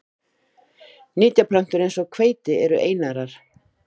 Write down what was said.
Ýmsar nytjaplöntur eins og hveiti eru einærar.